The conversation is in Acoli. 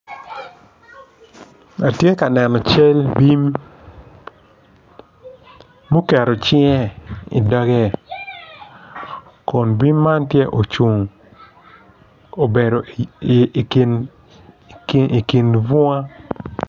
Man atura dok atura man tye madwong adada kun bene nyig kic acel tye ma opye i kom atura man dok nyig kic man tye ka cwiyo moc ature man